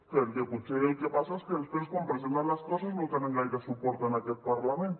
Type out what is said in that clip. perquè potser el que passa és que després quan presenten les coses no tenen gaire suport en aquest parlament